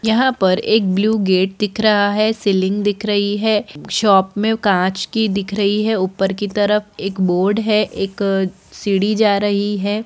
यहां पर एक ब्लू गेट दिख रहा है सीलिंग दिख रही है शॉप में कांच की दिख रही है ऊपर की तरफ एक बोर्ड है एक सीढ़ी जा रही है।